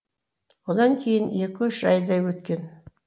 одан кейін екі үш айдай өткен